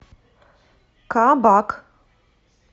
кабак